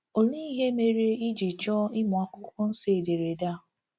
Olee ihe ndị mere i ji chọọ ịmụ akwụkwọ nsọ ederede a?